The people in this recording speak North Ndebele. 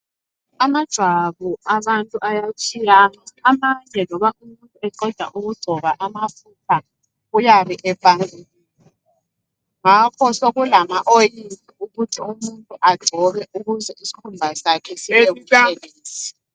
Amajwabu abantu ayatshiyana amanye loba umuntu eqada ukungcoba amafutha uyabe epangukile. Ngakho sekulama oyili ukuthi umuntu agcobe ukuze isikhumba sakhe sibe butshelezi.